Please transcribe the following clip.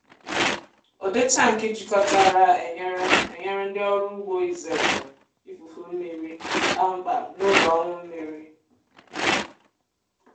ụdị tankị jikọtara enyere enyere ndị ọrụ ugbo izere ifufu mmiri kpamkpam n’oge ọnwụ mmiri.